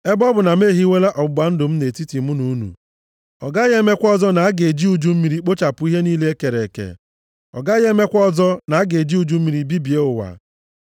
Ebe ọ bụ na m ehiwela ọgbụgba ndụ m nʼetiti mụ na unu, ọ gaghị emekwa ọzọ na a ga-eji uju mmiri kpochapụ ihe niile e kere eke, ọ gaghị emekwa ọzọ na a ga-eji uju mmiri bibie ụwa.”